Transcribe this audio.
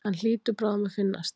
Hann hlýtur bráðum að finnast.